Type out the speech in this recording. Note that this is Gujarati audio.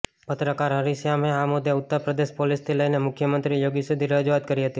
પત્રકાર હરિશ્યામે આ મુદ્દે ઉત્તર પ્રદેશ પોલીસથી લઈને મુખ્યમંત્રી યોગી સુધી રજૂઆત કરી હતી